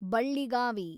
Balligavi